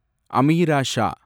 Ameera Shah